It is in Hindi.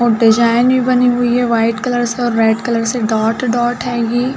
और डिजाइन भी बनी हुई है। व्हाइट कलर से और रेड कलर से डॉट-डॉट है।